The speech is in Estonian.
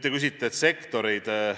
Te küsite sektorite kohta.